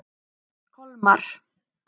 Kolmar